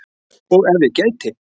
Og ef ég gæti?